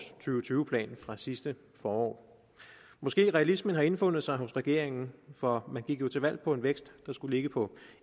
tyve plan fra sidste forår måske har realismen indfundet sig hos regeringen for man gik til valg på en vækst der skulle ligge på